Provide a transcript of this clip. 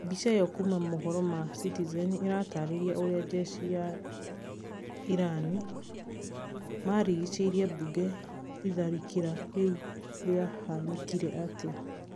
mbica ĩyo kuma citizen news iratarĩria ũrĩa njeshi cia iran marigicĩirie mbunge itharĩkĩra rĩu rĩahanĩkire atĩa?